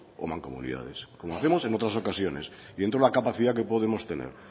o mancomunidades como hacemos en otras ocasiones dentro de la capacidad que podemos tener